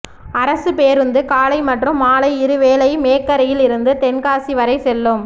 அரசு பேருந்து காலை மற்றும் மாலை இருவேளை மேக்கரையில் இருந்து தென்காசி வரை செல்லும்